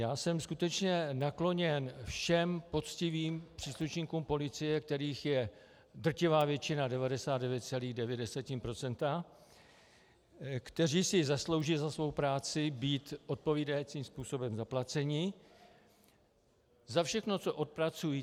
Já jsem skutečně nakloněn všem poctivým příslušníkům policie, kterých je drtivá většina, 99,9 %, kteří si zaslouží za svou práci být odpovídajícím způsobem zaplaceni, za všechno, co odpracují.